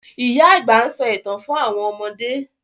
Ìyá àgbà nso ìtàn fún àwọn ọmọdé.